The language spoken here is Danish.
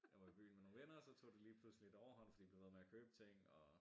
Jeg var i byen med nogle venner og så tog det lige pludselig lidt overhånd fordi de blev ved med at købe ting og